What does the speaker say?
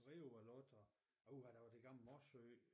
Rio var lukket og uha der var det gamle Morsø